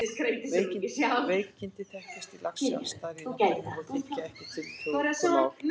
Veikindi þekkjast í laxi alls staðar í náttúrunni og þykja ekki tiltökumál.